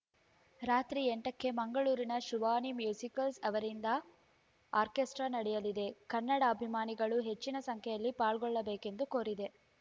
ರಾತ್ರಿ ಎಂಟಕ್ಕೆ ಮಂಗಳೂರಿನ ಶಿವಾನಿ ಮ್ಯೂಸಿಕಲ್ಸ‌ ಅವರಿಂದ ಆರ್ಕೇಸ್ಟ್ರಾ ನಡೆಯಲಿದೆ ಕನ್ನಡಾಭಿಮಾನಿಗಳು ಹೆಚ್ಚಿನ ಸಂಖ್ಯೆಯಲ್ಲಿ ಪಾಲ್ಗೊಳ್ಳಬೇಕೆಂದು ಕೋರಿದೆ